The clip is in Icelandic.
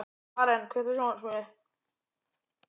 Maren, kveiktu á sjónvarpinu.